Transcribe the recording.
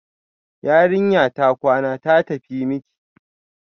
Yarinya ta kwana, ta tafi miki